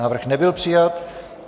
Návrh nebyl přijat.